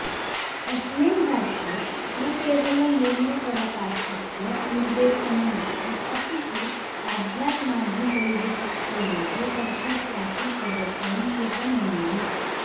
अस्मिन् भाष्ये न केवलं यज्ञपरकार्थस्य निर्देशनमस्ति अपि तु आध्यात्माधिदैवपक्षयोः अर्थस्यापि प्रदर्शनं कृतमनेन